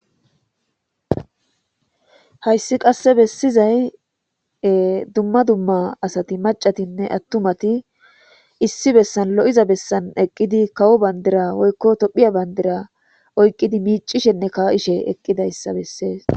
Hayssi qasse bessizay dumma dumma asati macatinne attumati issi bessan lo'iza bessan eqqidi kawo bandira woykko Tophphiya bandira oyqqidi miicishenne kaa'ishe eqqidayssa bessees.